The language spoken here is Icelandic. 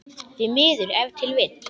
Því miður ef til vill?